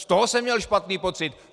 Z toho jsem měl špatný pocit.